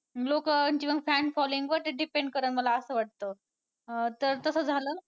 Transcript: लोकांच्या मग ran following वर ते depend करल असं मला वाटतं अं तर तसं झालं.